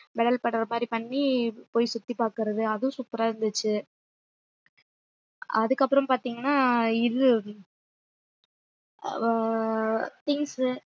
pedal பண்ற மாதிரி பண்ணி போய் சுத்தி பாக்குறது அதுவும் super ஆ இருந்துச்சு அதுக்கப்புறம் பாத்தீங்கன்னா இது அஹ் things